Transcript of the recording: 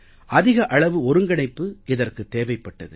அதிக அளவு ஒருங்கிணைப்பு இதற்கு தேவைப்பட்டது